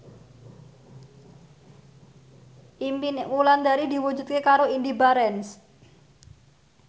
impine Wulandari diwujudke karo Indy Barens